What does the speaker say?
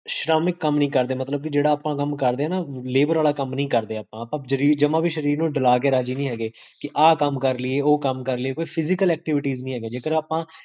ਸ਼੍ਰਮ ਕਮ ਨਹੀ ਕਰਦੇ, ਮਤਲਬ ਜੇਹੜਾ ਆਪਾਂ ਕਮ ਕਰਦੇ ਹੈਂ ਨਾ labour ਆਲਾ ਕਮ ਨੀ ਕਰਦੇ ਆਪਾਂ, ਆਪਾ ਜਮਾ ਵੀ ਸ਼ਰੀਰ ਨੂ ਟ੍ਰਾ ਕੇ ਰਾਜੀ ਨੀ ਹੈਗੇ, ਕੀ ਆਹ ਕਮ ਕਰਲਿਏ, ਓਹ ਕਮ ਕਰਲਿਏ, ਕੋਈ physical activities ਨੀ ਹੈਗੀਆਂ ਜੇਕਰ ਆਪਾਂ